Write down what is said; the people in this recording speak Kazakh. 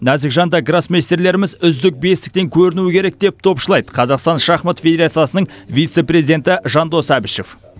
нәзік жанды гроссмейстерлеріміз үздік бестіктен көрінуі керек деп топшылайды қазақстан шахмат федерациясының вице президенті жандос әбішев